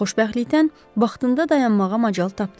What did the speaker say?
Xoşbəxtlikdən vaxtında dayanmağa macal tapdı.